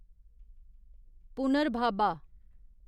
पुनर्भाबा